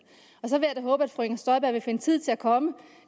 og så vil jeg da håbe at fru inger støjberg vil finde tid til at komme